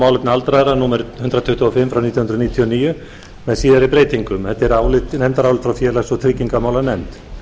málefni aldraðra númer hundrað tuttugu og fimm nítján hundruð níutíu og níu með síðari breytingum þetta er nefndarálit frá félags og tryggingamálanefnd